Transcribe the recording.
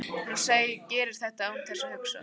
Hún gerir þetta án þess að hugsa.